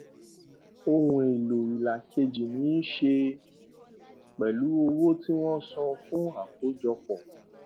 ohun èlò ìlà kejì ní í ṣe pẹlú owó tí wọn san fún àkójọpọ